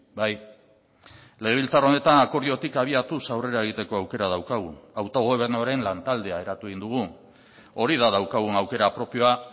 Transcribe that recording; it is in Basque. bai legebiltzar honetan akordiotik abiatuz aurrera egiteko aukera daukagu autogobernuaren lantaldea eratu egin dugu hori da daukagun aukera propioa